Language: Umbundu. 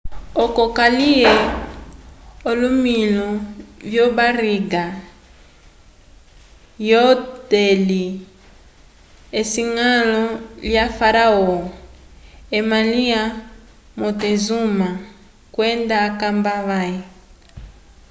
oco kaliye olomilu vyo barriga lyo deli esiñgalo lya faraó ema lya montezuma kwenda akamba vãhe